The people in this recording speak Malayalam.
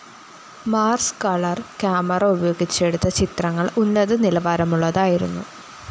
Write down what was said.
മാർസ്‌ കളർ കാമറ ഉപയോഗിച്ചെടുത്ത ചിത്രങ്ങള്‍ ഉന്നത നിലവാരമുള്ളതായിരുന്നു